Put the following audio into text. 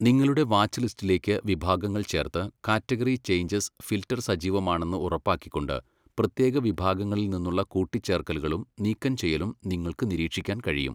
നിങ്ങളുടെ വാച്ച്ലിസ്റ്റിലേക്ക് വിഭാഗങ്ങൾ ചേർത്ത് കാറ്റഗറി ചേഞ്ചസ് ഫിൽട്ടർ സജീവമാണെന്ന് ഉറപ്പാക്കിക്കൊണ്ട് പ്രത്യേക വിഭാഗങ്ങളിൽ നിന്നുള്ള കൂട്ടിച്ചേർക്കലുകളും നീക്കംചെയ്യലും നിങ്ങൾക്ക് നിരീക്ഷിക്കാൻ കഴിയും.